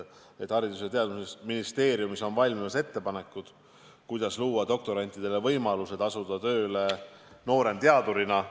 Haridus- ja Teadusministeeriumis on valmimas ettepanekud, kuidas luua doktorantidele võimalused asuda tööle nooremteadurina.